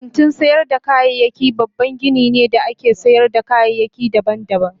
Kantin sayar da kayayyaki babban gini ne da ake sayar da kayayyaki daban-daban.